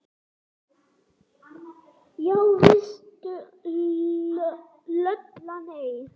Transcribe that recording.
Já veistu Lulla, nei